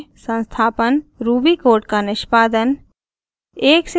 संस्थापन ruby code का निष्पादन